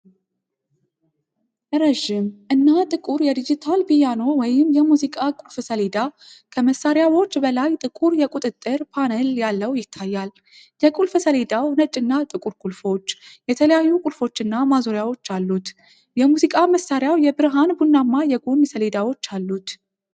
ረዥም እና ጥቁር ዲጂታል ፒያኖ ወይም የሙዚቃ ቁልፍ ሰሌዳ ከመሳሪያዎች በላይ ጥቁር የቁጥጥር ፓነል ያለው ይታያል። የቁልፍ ሰሌዳው ነጭና ጥቁር ቁልፎች፣ የተለያዩ ቁልፎች እና ማዞሪያዎች አሉት። የሙዚቃ መሳሪያው የብርሃን ቡናማ የጎን ሰሌዳዎች አሉት።